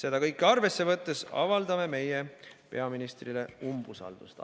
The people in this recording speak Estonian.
Eeltoodut arvesse võttes avaldame peaminister Kaja Kallasele umbusaldust.